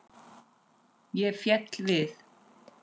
Ég fell við.